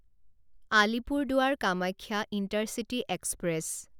Alipurduar Kamakhya intercity express